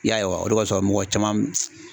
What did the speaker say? I y'a ye wa o de kɔsɔn mɔgɔ caman